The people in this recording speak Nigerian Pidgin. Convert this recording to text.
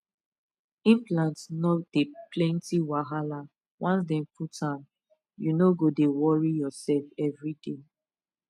implant no dey plenty wahala once dem put am you no go dey worry yourself everyday